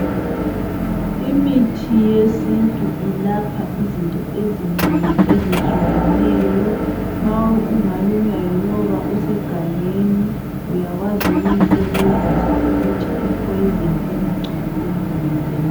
Imithi yesintu ilapha izinto ezinengi ezitshiyeneyo. Ma ungalunywa yinyoka usegangeni uyakwazi ukuyisebenzisa ukuthi I poison ingagcwali emzimbeni